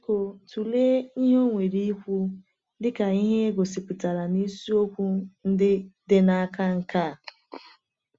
Biko tụlee ihe o nwere ikwu dị ka e gosipụtara na isiokwu dị n’aka nke a.